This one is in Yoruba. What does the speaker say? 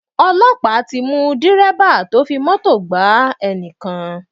Ọlọ́pàá ti mú Dẹ̀rẹ́bà tó fi Mọ́tò gaá ènìyàn.